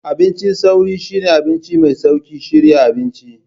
Abincin sauri shine abinci mai sauƙin shirya abinci.